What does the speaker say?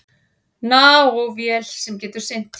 Nanóvél sem getur synt.